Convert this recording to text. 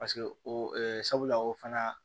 Paseke o sabula o fana